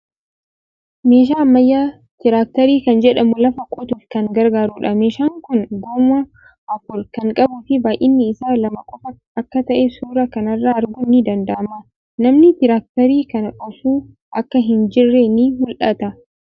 Meeshaa ammayyaa Tiraakteerii kan jedhamu lafa qotuuf kan gargaarudha. Meeshaan kuni goommaa afur kan qabuufii baay'inni isaa lama qofa akka ta'e suuraa kana irraa arguun ni danda'ama. Namni tiraakteerii kana oofuu akka hin jirre ni mul'ata.